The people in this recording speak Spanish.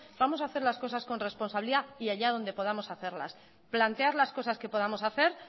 vamos a hacer las cosas con responsabilidad y allá donde podamos hacerlas plantear las cosas que podamos hacer